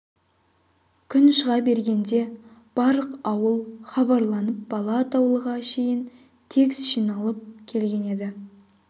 күн шыға бергенде барлық ауыл хабарланып бала атаулыға шейін тегіс жиналып келген еді